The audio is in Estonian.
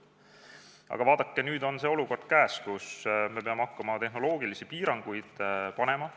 Aga vaadake, nüüd on see olukord käes, kus me peame hakkama tehnoloogilisi piiranguid seadma.